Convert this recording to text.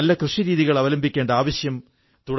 പൊൻ മാരിയപ്പൻ തമിഴിൽ പറഞ്ഞ മറുപടിയുടെ പരിഭാഷ